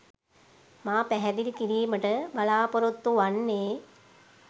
මා පැහැදිලි කිරීමට බලාපොරොත්තු වන්නේ